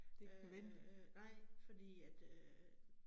Øh nej, fordi at øh